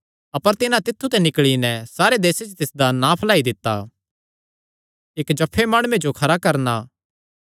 अपर तिन्हां तित्थु ते निकल़ी नैं सारे देसे च तिसदा नां फैलाई दित्ता